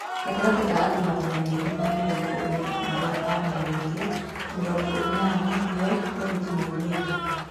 Gatagatĩ ka andũ magana merĩ ma mĩ rongo ĩ na arĩ a momĩ rĩ te, mĩ rongo ĩ nana nĩ o borithi maugĩ te